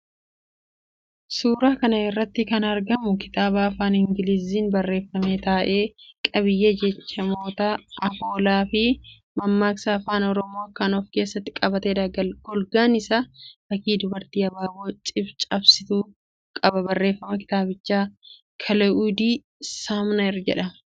Suuraa kana irratti kan argamu kitaaba Afaan Ingiliziitiin barreeffame ta'ee, qabiyyee jechamoota, afoolaafi mammaaksota Afaan Oromoo kan of keessatti qabateedha. Golgaan isaa fakkii dubartii abaaboo cabsituu qaba. Barreessaan kitaabichaa Kilaa'udii Saamner jedhama.